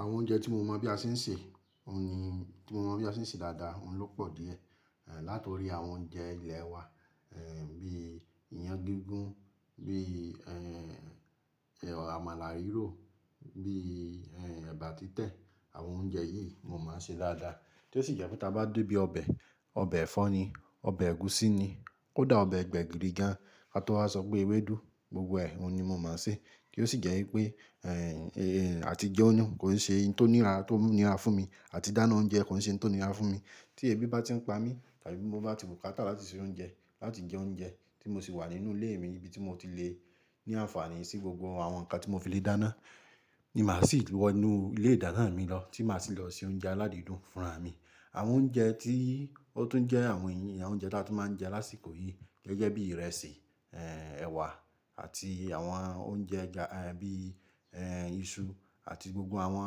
Àwọn oúnjẹ tí mo mọ̀ bí a ṣe ń ṣe, òun ni tí mo mọ̀ bí a ṣe ń ṣe dáadáa, òun ló pọ̀ díẹ̀. Ẹ̀ láti orí àwọn oúnjẹ ilẹ̀ wa, ẹ̀ bí iyan gígún, bí ẹ̀ àmàlà rírò, bí ẹ̀ ẹ̀bà títẹ̀, àwọn oúnjẹ yìí mo máa ń ṣe dáadáa. Tí ó sì jẹ́ pé tí a bá dé ibi ọbẹ̀, ọbẹ̀ ẹ̀fọ́ ni, ọbẹ̀ ẹ̀gúsí ni, ó dà ọbẹ̀ gbẹ̀gìrì gan, àti ó ha sọ pé ewédú, gbogbo ẹ, òun ni mo máa ń ṣe. Kí ó sì jẹ́ wípé, ẹ̀ àti jẹunú kò ń ṣe ohun tó nira tó nira fún mi, àti dáná oúnjẹ kò ń ṣe ohun tó nira fún mi. Tí èébì bá ti ń pa mí, tàbí mo bá ti bùkátà láti se oúnjẹ, láti jẹ oúnjẹ tí mo sì wà nínú ilé mi ní ibi tí mo ti le ní àǹfààní sí gbogbo àwọn nǹkan tí mo fi le dáná, ni màá sì wọ inú ilé ìdáná mi lọ tí màá sì lọ se oúnjẹ aládìídùn fúnra mi. Àwọn oúnjẹ tí ó tún jẹ́ àwọn iyì, àwọn oúnjẹ tí a tún máa ń jẹ lásìkò yìí gẹ́gẹ́ bí ìrẹsì, ẹ̀ ẹ̀wà àti àwọn oúnjẹ ẹja, ẹ̀ bí iṣu àti gbogbo àwọn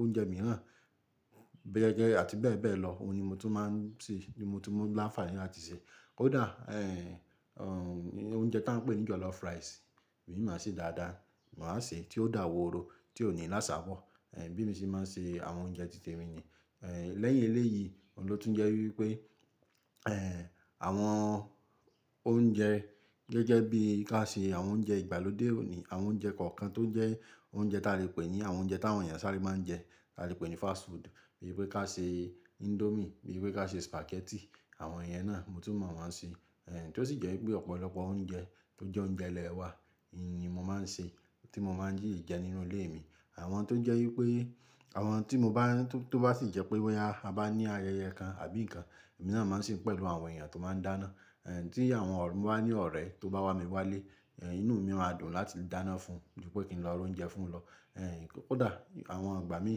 oúnjẹ mìíràn, gẹ́gẹ́ àti bẹ́ẹ̀ bẹ́ẹ̀ lọ, òun ni mo tún máa ń ṣe, ni mo tún mọ́ láǹfààní láti ṣe. Ó dà, ẹ̀ òun jẹ́ tá ń pè ní jọ̀lọ́fù ráisì, èmi máa ṣe dáadáa, màá ṣe tí ó dà wòóró tí ò ní làṣà bọ̀, ẹ̀ bí mi ṣe máa ń ṣe àwọn oúnjẹ títè mi ni. Ẹ̀ Lẹ́yìn ilé yìí òun ló tún jẹ́ wípé, ẹ̀ àwọn oúnjẹ gẹ́gẹ́ bí ká ṣe àwọn oúnjẹ ìgbàlódé òní, àwọn oúnjẹ kọ̀ọ̀kan tó ń jẹ́ oúnjẹ tí a lè pè ní àwọn oúnjẹ tí àwọn ènìyàn sáré máa ń jẹ, tí a lè pè ní fast food, bíi pé ká ṣe índómì, bíi pé ká ṣe sùpàgẹ́tì, àwọn ìyẹn náà mo tún mọ̀ wọ́n ṣe. Ẹ̀ Tí ó sì jẹ́ wípé ọ̀pọ̀lọpọ̀ oúnjẹ tó jẹ́ oúnjẹ ilẹ̀ wa nìyí mo máa ń ṣe, tí mo máa ń jí jẹ nínú ilé mi. Àwọn tó jẹ́ wípé àwọn tí mo bá tó bá sì jẹ́ pé wọ́n ya, a bá ní ayẹyẹ kan àbí nǹkan, èmi náà máa ń ṣe pẹ̀lú àwọn ènìyàn tó máa ń dáná. Ẹ̀ Tí àwọn ọ̀rẹ́ mi bá ní ọ̀rẹ́ tó bá wá mi wálé, ẹ̀ inú mi máa dùn láti dáná fún, ju pẹ́ kí n lọ ra oúnjẹ fún wọn lọ. Ẹ̀ Ó dà, àwọn ọ̀gbà mi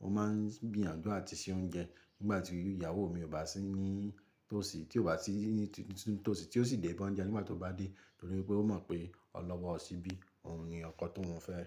mo máa ń gbìyànjú àti se oúnjẹ nígbà tí ìyàwó mi ò bá sí ní tòsí, tí ò bá sí ní tòsí, tí ó sì dé bá ń jẹ nígbà tó bá dé, nítorí pé ó mọ̀ pé ọ̀ lọ́wọ́ ọ ṣíbí, òun ni ọkọ tó ń fẹ́ ẹ.